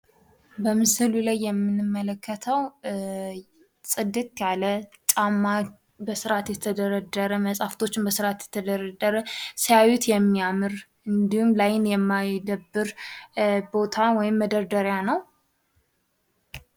በምስሉ ላይ የምንመለከተው ጽድት ያለ ጫ፥ በስርአት የተደረደረ፥ ሲያዩት የሚያምር እንዲሁም ላይ ለአይን የማይደብር የሚያምር ቦታ ወይም መደርደሪያ ነው።